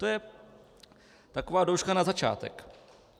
To je taková douška na začátek.